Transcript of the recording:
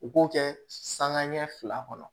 U k'o kɛ sanŋa ɲɛ fila kɔnɔ